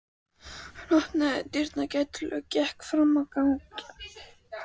Hann opnaði dyrnar gætilega og gekk fram á ganginn.